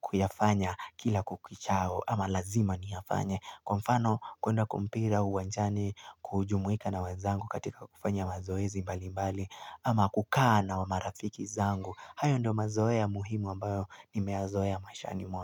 kuyafanya kila kukichao ama lazima niyafanye. Kwa mfano kuenda kwa mpira uwanjani kujumuika na wezangu katika kufanya mazoezi mbali mbali ama kukaa na marafiki zangu. Hayo ndiyo mazoea muhimu ambayo ni mezoea maishani mwangu.